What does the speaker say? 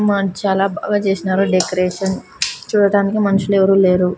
మాన్ చాలా బాగా చేసారు డెకరేషన్ చూడటానికి మనుషులు ఎవరూ లేరు.